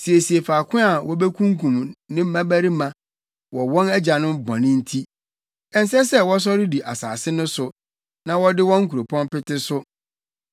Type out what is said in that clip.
Siesie faako a wobekunkum ne mmabarima wɔ wɔn agyanom bɔne nti; ɛnsɛ sɛ wɔsɔre di asase no so na wɔde wɔn nkuropɔn pete so.